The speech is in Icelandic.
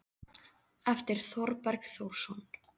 eftir Þorberg Þórsson